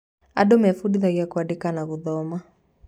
Andũ mebundithagia kũandĩka na gũthoma.